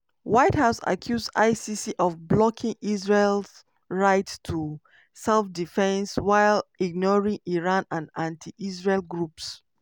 white house accuse icc of blocking israel right to self-defence while ignoring iran and anti-israel groups.